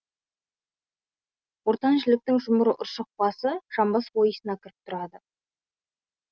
ортан жіліктің жұмыр ұршық басы жамбас ойысына кіріп тұрады